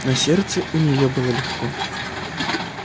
на сердце у неё было легко